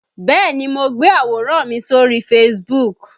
Bẹ́ẹ̀ni mo gbé àwòrán mi sórí Facebook